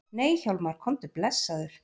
Nei Hjálmar, komdu blessaður!